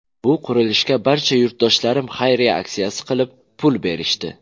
Bu qurilishga barcha yurtdoshlarim xayriya aksiyasi qilib, pul berishdi.